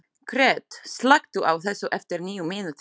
Gret, slökktu á þessu eftir níu mínútur.